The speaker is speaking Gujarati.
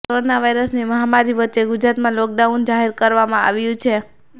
કોરોના વાયરસની મહામારી વચ્ચે ગુજરાતમાં લોકડાઉન જાહેર કરવામાં આવ્યું છે